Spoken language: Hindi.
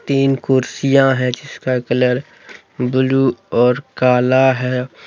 तीन कुर्सियां है जिसका कलर ब्लू और काला है।